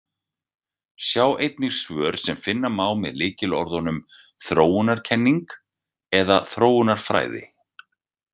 Sjá einnig svör sem finna má með lykilorðunum „þróunarkenning“ eða „þróunarfræði“.